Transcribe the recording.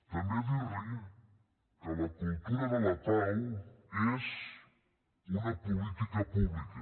també dir li que la cultura de la pau és una política pública